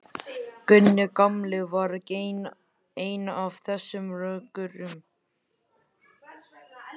Gunni gamli var einn af þessum rökkurum.